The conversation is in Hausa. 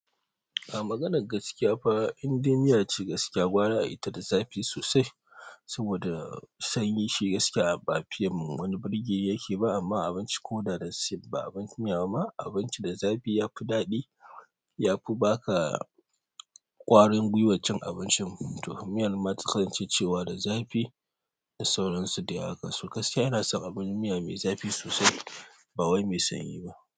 A maganan gaskiya fa, indai miya ce gaskiya gwara a yita da zafi sosai. Saboda sanyi shi gaskiya ba fiyan wani birge yake ba amma abinci ko da da safe ba abinci miya ba abinci da zafi yafi daɗi yafi ba ka ƙwarin gwiwan cin abincin. To miyan ma ta kasance cewa da zafi da sauransu dai haka. So gaskiya ina son abin miya mai zafi sosai ba wai mai sanyi ba.